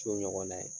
Co ɲɔgɔn na ye